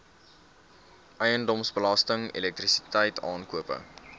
eiendomsbelasting elektrisiteit aankope